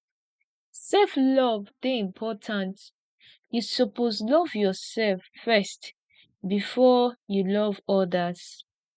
sef love dey important you suppose love yoursef first before you love odas